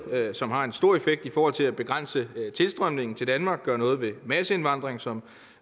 som har en stor effekt i forhold til at begrænse tilstrømningen til danmark gøre noget ved masseindvandring som